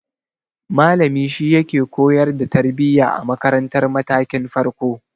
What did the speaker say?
Malami shi yake koyar da tarbiya a makaratar matakin farko.